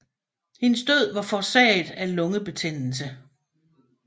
Hendes død var forårsaget af lungebetændelse